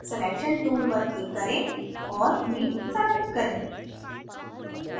selection tool पर click करें और हीट select करें